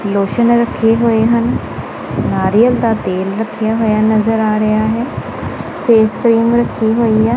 Lotion ਰੱਖੇ ਹੋਏ ਹਨ ਨਾਰੀਅਲ ਦਾ ਤੇਲ ਰੱਖਿਆ ਹੋਇਆ ਨਜ਼ਰ ਆ ਰਿਹਾ ਹੈ ਫੇਸ ਕਰੀਮ ਰੱਖੀ ਹੋਈ ਹੈ।